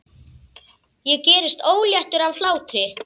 Ég gerist óléttur af hlátri.